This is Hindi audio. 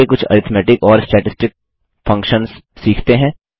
आगे कुछ अरिथ्मेटिक और स्टैटिस्टिक फंक्शन्स सीखते हैं